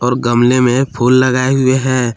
और गमले में फूल लगाए हुए हैं।